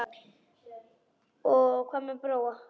Og hvað um Bróa?